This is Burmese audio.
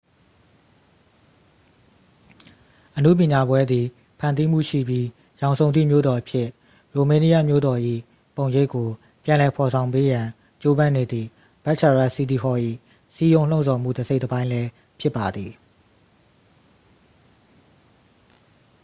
အနုပညာပွဲသည် ဖန်တီးမှုရှိပြီး ရောင်စုံသည့် မြို့တော်အဖြစ် ရိုမေးနီးယန်းမြို့တော်၏ ပုံရိပ်ကို ပြန်လည်ဖော်ဆောင်ပေးရန် ကြိုးပမ်းနေသည့် bucharest city hall ၏ စည်းရုံးလှုံ့ဆော်မှု တစ်စိတ်တစ်ပိုင်းလည်း ဖြစ်ပါသည်